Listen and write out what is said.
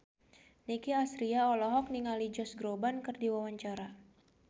Nicky Astria olohok ningali Josh Groban keur diwawancara